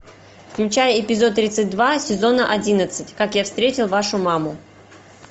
включай эпизод тридцать два сезона одиннадцать как я встретил вашу маму